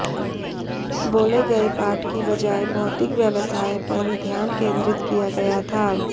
बोले गए पाठ की बजाय भौतिक व्यवसाय पर ध्यान केंद्रित किया गया था